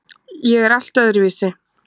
Ég er allt öðruvísi.